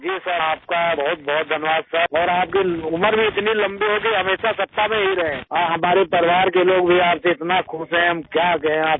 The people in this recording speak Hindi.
जी सिर आप का बहुतबहुत धन्यवाद सिर आप की उम्र भी इतनी लम्बी हो की हमेशा सत्ता में ही रहे और हमारे परिवार के लोग भी आप से इतना खुश हैं क्या कहें आप से